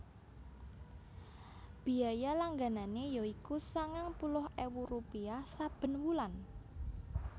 Biaya langganané ya iku sangang puluh ewu rupiah saben wulan